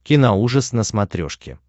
киноужас на смотрешке